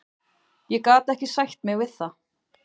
Ég gat ekki sætt mig við það.